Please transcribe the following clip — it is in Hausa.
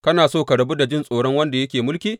Kana so ka rabu da jin tsoron wanda yake mulki?